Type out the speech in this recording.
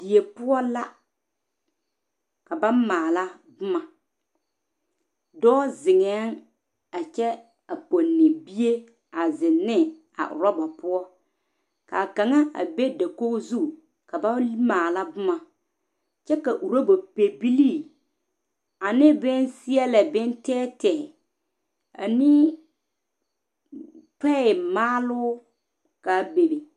Die poɔ la ka ba maale boma dɔɔ zeŋa a kyɛ a pɔnne bie zeŋ ne a oroba poɔ kaa kaŋa a be dakogi zu ka ba maala boma kyɛ ka oroba pɛbilee ane boŋ seɛle boŋ tɛɛtɛɛ ane toyɛ maalo kaa bebe.